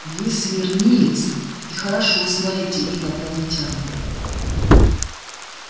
вы смирниец и хорошо знаете инопланетян